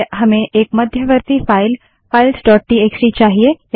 पहले हमें एक मध्यवर्ती फाइल फाइल्स डोट टीएक्सटी चाहिए